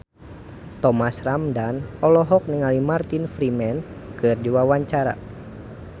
Thomas Ramdhan olohok ningali Martin Freeman keur diwawancara